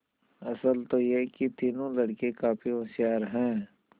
असल तो यह कि तीनों लड़के काफी होशियार हैं